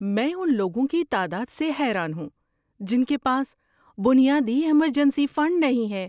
میں ان لوگوں کی تعداد سے حیران ہوں جن کے پاس بنیادی ایمرجنسی فنڈ نہیں ہے۔